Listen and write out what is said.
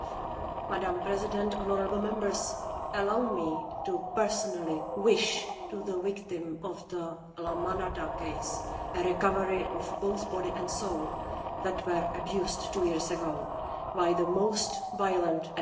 Madam President, honourable Members, allow me to personally wish to the victim of the La Manada case a recovery of both body and soul that were abused two years ago by the most violent act.